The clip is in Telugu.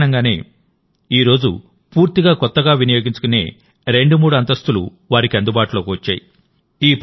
ఆ కారణంగానే నేడు పూర్తిగా కొత్తగా వినియోగించుకునే రెండు మూడు అంతస్తులు వారికి అందుబాటులోకి వచ్చాయి